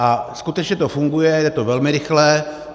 A skutečně to funguje, je to velmi rychlé.